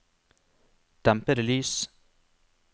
dempede lys